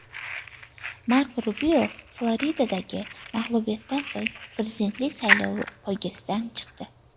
Marko Rubio Floridadagi mag‘lubiyatdan so‘ng prezidentlik saylovi poygasidan chiqdi.